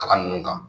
Kalan ninnu kan